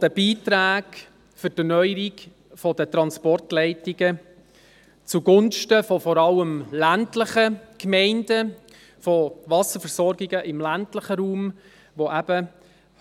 der Beiträge für die Erneuerung der Transportleitungen zugunsten von vor allem ländlichen Gemeinden – von Wasserversorgungen im ländlichen Raum –, die